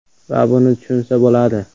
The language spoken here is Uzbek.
Va buni tushunsa bo‘ladi.